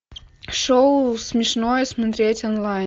шоу смешное смотреть онлайн